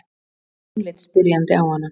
Jón leit spyrjandi á hana.